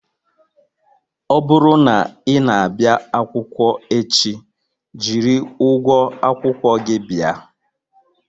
Ọ bụrụ na ị na-abịa akwụkwọ echi, jiri ụgwọ akwụkwọ gị bịa